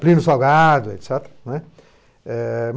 Plínio Salgado, et cétera, né? É...